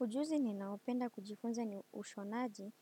Ujuzi ninaopenda kujifunza ni ushonaji